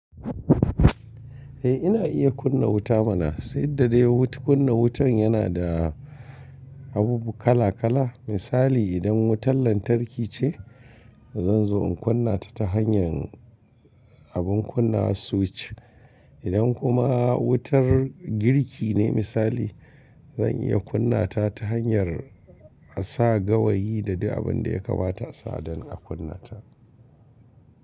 Eh ina iya kunna wuta mana, sai da dai kunna wutan yana da abubu kala kala. Misali idan wutan lantarki ce, zan zo in kunna ta ta hanyar abin kunna switch. Idan kuma wutar girki ne misali, zan iya kunna ta ta hanyar a sa gawayi da duk abin da ya kamata a sa don a kunna ta.